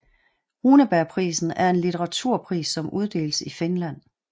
Runebergprisen er en litteraturpris som uddeles i Finland